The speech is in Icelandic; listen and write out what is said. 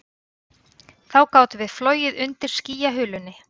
Þá gátum við flogið undir skýjahulunni